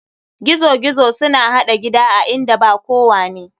Gizo gizo suna haɗa gida a inda ba kowane.